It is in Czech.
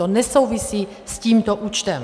To nesouvisí s tímto účtem.